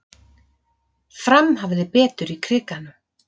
Fram hafði betur í Krikanum